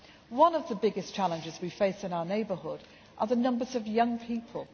One of the biggest challenges we face in our neighbourhood is the number of young people.